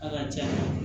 A ka ca